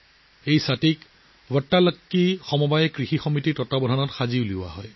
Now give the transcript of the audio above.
এই ছাতিবোৰ 'ভাটালাকি সমবায় কৃষি সমাজ'ৰ তত্বাৱধানত তৈয়াৰ কৰা হয়